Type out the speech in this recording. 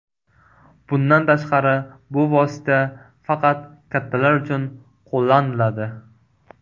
Bundan tashqari, bu vosita faqat kattalar uchun qo‘llaniladi.